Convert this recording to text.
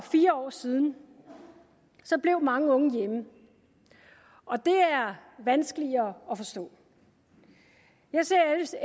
fire år siden blev mange unge hjemme og det er vanskeligere at forstå jeg ser